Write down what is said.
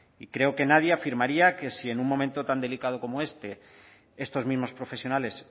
y creo que nadie afirmaría que si en un momento tan delicado como este estos mismos profesionales